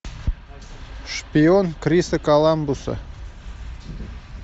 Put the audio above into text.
шпион криса коламбуса